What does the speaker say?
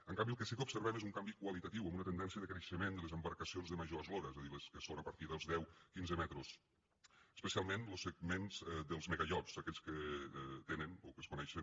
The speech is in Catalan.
en canvi el que sí que observem és un canvi qualitatiu amb una tendència de creixement de les embarcacions de major eslora és a dir les que són a partir dels deu quinze metres especialment los segments dels megaiots aquells que tenen o que es coneixen